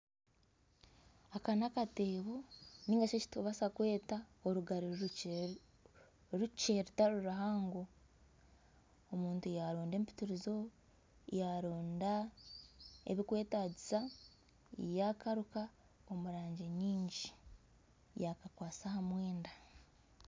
Aka nakateebo narishi eki turikubaasa kweta orugari rukye rutari ruhango omuntu yaronda empitirizo yaronda ebikwetaagisa yakaruka omurangi nyingi yakakwasa aha mwenda.